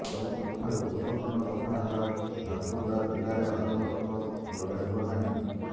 ସବୁଠାରୁ ଗୁରୁତ୍ୱପୂର୍ଣ୍ଣ କଥା ହେଲା ଝାରସୁଗୁଡା ଜିଲ୍ଲାରେ ଆଦୌ ଗଛ ଲଗାଯିବ ନାହିଁ